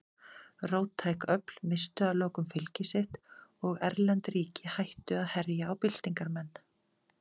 Róttæk öfl misstu að lokum fylgi sitt og erlend ríki hættu að herja á byltingarmenn.